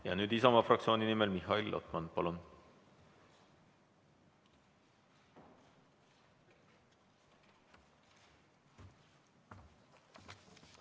Ja nüüd Isamaa fraktsiooni nimel Mihhail Lotman, palun!